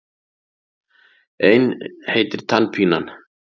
Ein heitir Tannpínan.